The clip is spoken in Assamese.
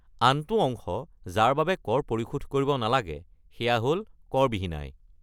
আনটো অংশ যাৰ বাবে কৰ পৰিশোধ কৰিব নালাগে, সেয়া হ'ল কৰ-বিহীন আয়।